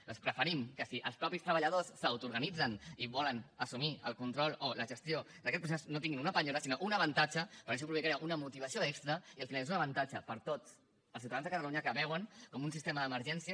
doncs preferim que si els mateixos treballadors s’autoorganitzen i volen assumir el control o la gestió d’aquest procés no tinguin una penyora sinó un avantatge perquè això provocaria una motivació extra i al final és un avantatge per a tots els ciutadans de catalunya que veuen com un sistema d’emergències